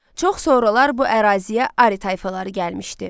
Çox sonralar bu əraziyə Ari tayfaları gəlmişdi.